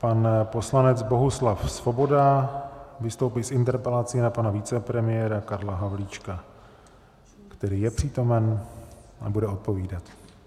Pan poslanec Bohuslav Svoboda vystoupí s interpelací na pana vicepremiéra Karla Havlíčka, který je přítomen a bude odpovídat.